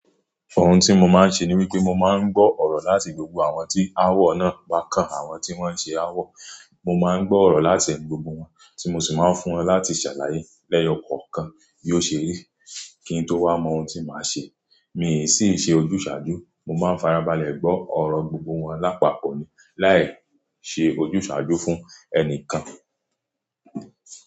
Ohun tí mo máa ń ṣe ni wípé mo máa ń gbọ́ ọ̀rọ̀ láti gbogbo àwọn tí awọ náà bá kan àwọn tí wọ́n ṣe awọ. Mo máa ń gbọ́ ọ̀rọ̀ láti ẹ̀nu gbọgbo wọn, tí mo sì máa ń fún wọn láti ṣàlàyé lẹ́yọ̀ kọ̀ọ̀kan bí ó ṣe rí kí n tó wá mọ ohun tí màá ṣe. Mi sì ń ṣe ojúsàájú, mo máa ń farabalẹ̀ gbọ́ ọ̀rọ̀ gbogbo wọn lápapọ̀ ni láì ṣe ojúsàájú fún ẹnìkan.